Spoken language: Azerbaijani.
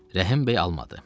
Rəhim bəy almadı.